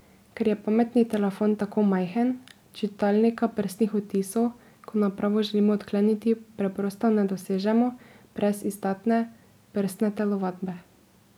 Ker je pametni telefon tako majhen, čitalnika prstnih odtisov, ko napravo želimo odkleniti, preprosto ne dosežemo brez izdatne prstne telovadbe.